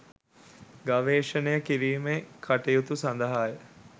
ගවේෂණය කිරීමේ කටයුතු සඳහාය